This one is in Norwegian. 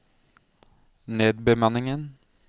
nedbemanningen